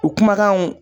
U kumakanw